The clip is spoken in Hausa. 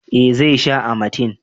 eh zai sha amatem